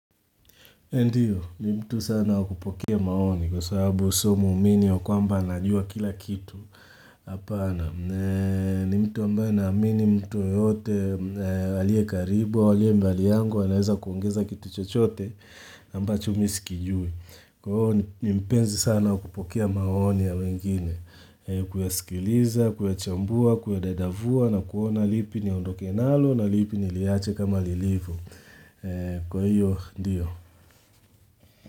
Ndiyo, ni mtu sana wakupokea maoni kwa sababu somo uminio kwa mba anajua kila kitu apana. Ni mtu ambaye na amini mtu yoyote alie karibu, walie mbali yangu, wanaweza kuongeza kitu chochote amba chumisi kijui. Kwa hiyo, ni mpenzi sana wakupokea maoni ya wengine, kuyasikiliza, kuyachambua, kuyadadavua na kuona lipi ni ondo kenalo na lipi ni liache kama lilivu. Kwa hiyo, ndiyo.